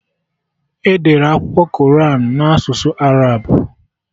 Edere Akwụkwọ Koran na asụsụ Arab